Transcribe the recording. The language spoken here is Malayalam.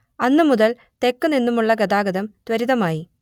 അന്നു മുതൽ തെക്ക് നിന്നുമുള്ള ഗതാഗതം ത്വരിതമായി